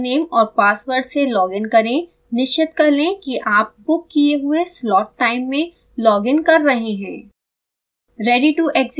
अपने यूज़रनेम और पासवर्ड से लॉग इन करें निश्चित कर लें कि आप बुक किये हुए slot टाइम में लॉग इन कर रहे हों